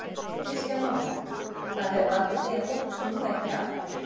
Kristján Már: Það hefur valdið því að fólk snúi ekki aftur?